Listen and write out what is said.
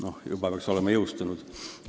Ehk ta peaks olema juba jõustunud.